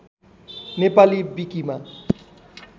नेपाली विकिमा